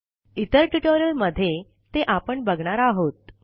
इतर ट्युटोरियलमध्ये ते आपण बघणार आहोत